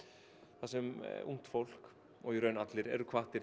þar sem ungt fólk og í raun allir eru hvattir